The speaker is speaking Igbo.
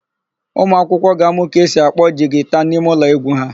Ụmụakwụkwọ ga-amụ ka esi akpọ jigita n'imeụlọ égwú ha.